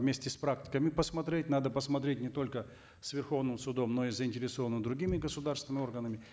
вместе с практикой и посмотреть надо посмотреть не только с верховным судом но и заинтересованными другими государственными органами